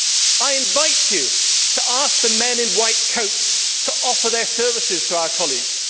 Mr President, I invite you to ask the men in white coats to offer their services to our colleague.